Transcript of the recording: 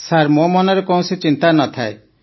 sir ମୋ ମନରେ କୌଣସି ଚିନ୍ତା ନ ଥାଏ